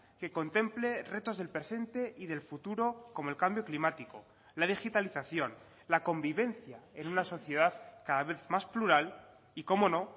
que contemple retos del presente y del futuro como el cambio climático la digitalización la convivencia en una sociedad cada vez más plural y cómo no